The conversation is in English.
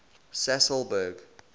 sasolburg